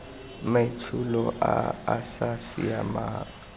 maitsholo a a sa siamang